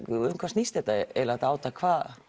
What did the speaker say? um hvað snýst þetta eiginlega þetta átak